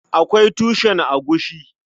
Akwai taushen agushi.